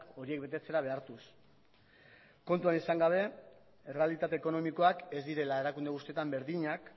horiek betetzera behartuz kontuan izan gabe errealitate ekonomikoak ez direla erakunde guztietan berdinak